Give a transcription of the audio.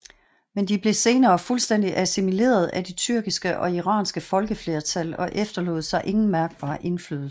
Men de blev senere fuldstændig assimileret af de tyrkiske og iranske folkeflertal og efterlod sig ingen mærkbar indflydelse